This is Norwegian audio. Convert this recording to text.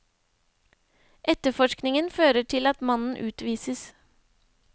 Etterforskningen fører til at mannen utvises.